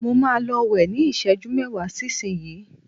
mo ma lọ wẹ́ ni iseju mẹwa sí isinyii